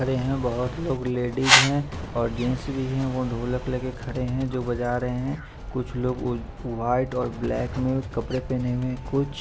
परे है बहोत लोग लेडिस है और जेन्स भी है वो ढोलक लेके खडे है जो बजा रहे है कुछ लोग वाइट ब्लैक में कपड़े पहने है कुछ--